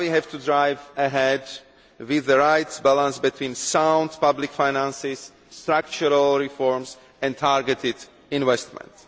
Now we have to drive ahead, with the right balance between sound public finances, structural reforms and targeted investment.